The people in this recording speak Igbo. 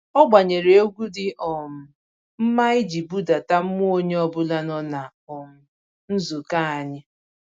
Ọ gbanyere egwu dị um mma iji budata mmụọ onye ọbụla nọ na um nzukọ anyị